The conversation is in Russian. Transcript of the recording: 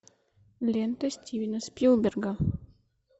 лента стивена спилберга